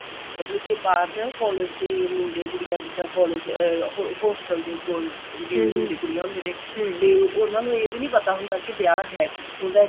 ਮਤਲਬ ਕਿ ਬਾਹਰ ਨਾ collage ਦੇ ਮੁੰਡੇ ਕੁੜੀਆਂ ਜਿੱਦਾਂ collage ਅਹ hostel ਦੇ ਕੋਲ ਵੀ ਮੁੰਡੇ ਕੁੜੀਆਂ ਹੁੰਦੇ ਨੇ ਤੇ ਉਹਨਾ ਨੂੰ ਇਹ ਵੀ ਨਹੀਂ ਪਤਾ ਹੁੰਦਾ ਕਿ ਵਿਆਹ ਹੈ ਕਿੱਥੋਂ ਦਾ